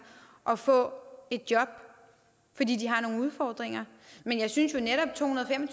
at få et job fordi de har nogle udfordringer men jeg synes jo netop at to hundrede og fem